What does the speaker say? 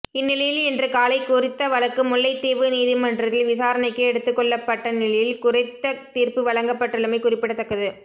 இந்நிலையில் இன்று காலை குறித்த வழக்கு முல்லைத்தீவு நீதிமன்றத்தில் விசாரணைக்கு எடுத்துக் கொள்ளப்பட்ட நிலையில் குறித்த தீர்ப்பு வழங்கப்பட்டுள்ளமை குறிப்பிடத்தக்கது